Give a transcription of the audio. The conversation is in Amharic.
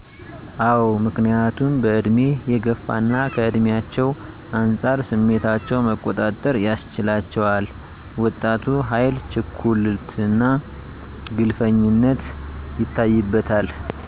አዎ ምክንያቱም በእድሜ የገፉና ከእድሜቸው አንፃር ስሜታቸው መቆጣጠር ያስችላቸዋል ወጣቱ ኃይል ችኩልነትና ግንፍልተኝነት ይታይበታል